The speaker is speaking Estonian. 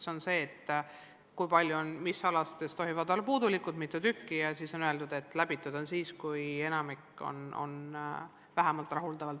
See on see, et mis ainetes tohivad hinded olla puudulikud ja mitu tükki neid tohib olla, samuti on öeldud, et õppekava on läbitud siis, kui enamik tulemusi on vähemalt rahuldavad.